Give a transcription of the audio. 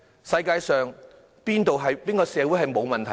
世界上哪個社會沒有問題？